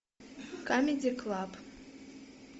камеди клаб